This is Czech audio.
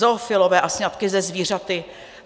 Zoofilové a sňatky se zvířaty?